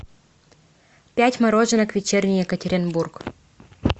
пять мороженок вечерний екатеринбург